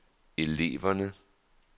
eleverne